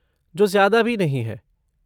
जो ज्यादा भी नहीं है।